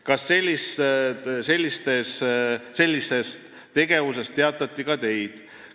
Kas sellisest tegevusest teavitati ka Teid?